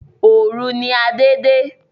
Òòru ni Adé de